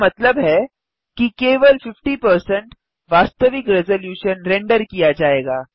इसका मतलब है कि केवल 50 वास्तविक रेज़लूशन रेंडर किया जाएगा